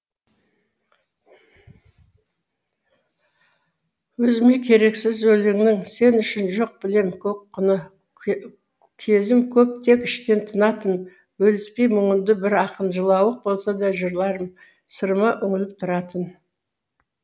өзіме керексіз өлеңнің сен үшін жоқ білем көк құны кезім көп тек іштен тынатын бөліспей мұңымды бір ақын жылауық болса да жырларым сырыма үңіліп тұратын